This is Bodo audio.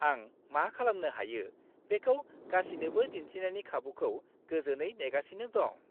आं मा खालामनो हायो बेखौ गासिनोबो दिन्थिनायनि खाबुखौ गोजोनै नेगासिनो दं।